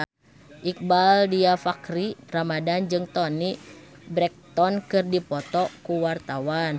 Iqbaal Dhiafakhri Ramadhan jeung Toni Brexton keur dipoto ku wartawan